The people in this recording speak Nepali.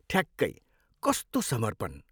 ठ्याक्कै! कस्तो समर्पण।